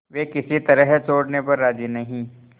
वे किसी तरह छोड़ने पर राजी नहीं